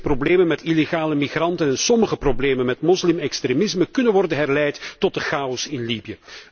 De meeste problemen met illegale migranten en sommige problemen met moslimextremisme kunnen worden herleid tot de chaos in Libië.'